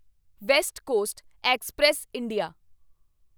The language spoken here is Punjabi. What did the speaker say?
West coast express India